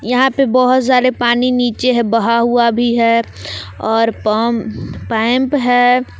यहां पे बहोत सारे पानी नीचे है बहा हुआ भी है और पम पैंप है।